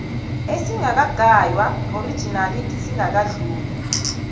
esingakagaywa original singadluli